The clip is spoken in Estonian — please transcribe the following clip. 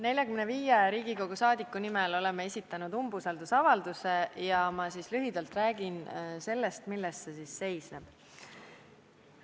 45 Riigikogu liiget on esitanud umbusaldusavalduse ja ma lühidalt räägin sellest, milles see seisneb.